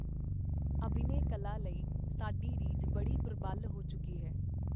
ਅਭਿਨੇ ਕਲਾ ਲਈ ਸਾਡੀ ਰੀਝ ਬੜੀ ਪਰਬਲ ਹੋ ਚੁੱਕੀ ਸੀ.